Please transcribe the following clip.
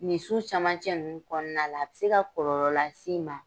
Ni su cɛmancɛ ninnu kɔnɔna la, a bɛ se ka kɔlɔlɔ las'i ma.